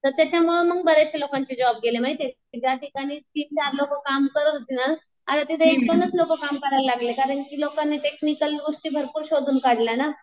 तर त्याच्यामुळं मग बर्याचश्या लोकांचे जॉब गेले माहितीये ज्याठिकाणी तीन चार लोकं काम करत होते ना आता तिथे एक दोनच लोकं काम करायला लागले कारण की लोकांनी टेक्निकल गोष्टी भरपूर शोधून काढल्या ना.